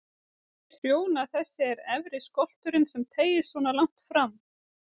Trjóna þessi er efri skolturinn sem teygist svona langt fram.